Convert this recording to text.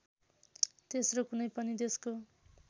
तेस्रो कुनै पनि देशको